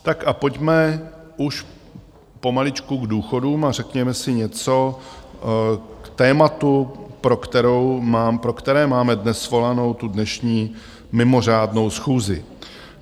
Tak a pojďme už pomaličku k důchodům a řekněme si něco k tématu, pro které máme dnes svolanou tu dnešní mimořádnou schůzi.